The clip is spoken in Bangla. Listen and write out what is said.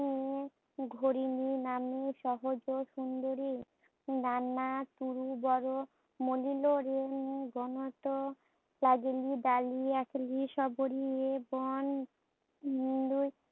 অডিও স্পষ্ট নয়